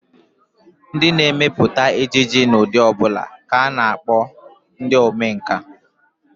Ndị na-emepụta ejije n'ụdị ọ bụla ka a na-akpọ ndị omenkà